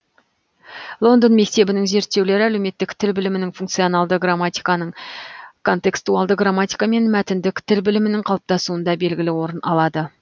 лондон мектебінің зерттеулері әлеуметтік тіл білімінің функционалды грамматиканың контекстуалды грамматика мен мәтіндік тіл білімінің қалыптасуында белгілі орын алады